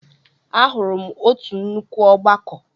Ahụrụ m otu nnukwu ọgbakọ.